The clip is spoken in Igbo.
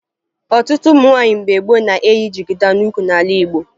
Ọtụtụ ụmụ nwaanyị mgbe gboo na-eyi jigida n'ukwu n'ala Igbo